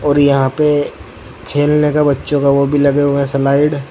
और यहां पे खेलने का बच्चों का वह भी लगे हुए स्लाइड ।